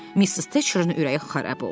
Missis Teçerinin ürəyi xarab oldu.